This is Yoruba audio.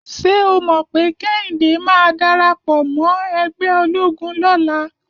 Ṣé o mọ̀ pé Kẹ́hìndé máa darapọ̀ mọ́ ẹgbẹ́ ológun lọ́la?